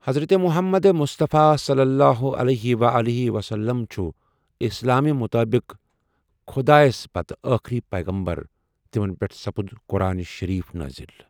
حضرت محمد مصطفیٰ صلی اللہ علیہ و آلہ وسلم چھُ اِسلام مُطٲبِق خدا پَتہٕ ٲخری پٲغامبَر تمن پؠٹھ سپد قُرآن شٔریٖف نازل۔